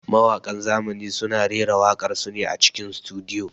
Mawaƙan zamani suna raira waƙar su ne a cikin sutudiyo.